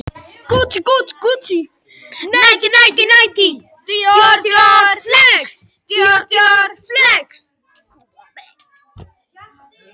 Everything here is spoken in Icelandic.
Örn og Örlygur, Reykjavík.